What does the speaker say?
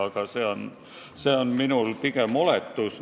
Aga see on pigem oletus.